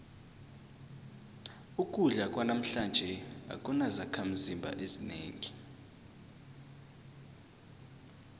ukudla kwanamhlanje akunazakhimzimba ezinengi